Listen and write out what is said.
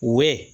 We